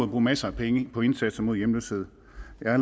bruge masser af penge på indsatsen mod hjemløshed jeg har